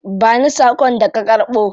Ba ni sakon da ka karbo.